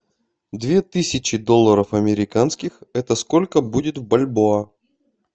две тысячи долларов американских это сколько будет в бальбоа